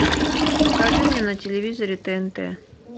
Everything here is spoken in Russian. покажи мне на телевизоре тнт